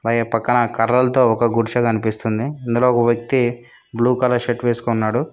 పక్కన కర్రలతో ఒక గుడిస కనిపిస్తుంది ఇందులో ఒక వ్యక్తి బ్లూ కలర్ షర్ట్ వేసుకున్నాడు.